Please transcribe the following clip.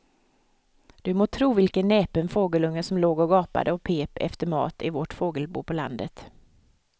Du må tro vilken näpen fågelunge som låg och gapade och pep efter mat i vårt fågelbo på landet.